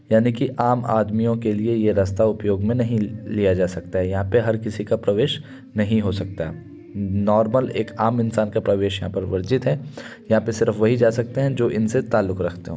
यानि की आम आदमियों के लिए ये रस्ता उपयोग में नहीं ल-लिया जा सकता यहाँ पे हर किसी का प्रवेश नहीं हो सकता नोर्मल एक आम इंसान का प्रवेश यहाँ पे वर्जित है यहाँ पर सिर्फ वही जा सकते है जो इनसे तालुक रखते हो।